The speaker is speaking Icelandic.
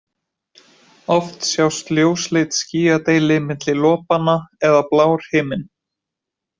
Oft sjást ljósleit skýjadeili milli lopanna eða blár himinn.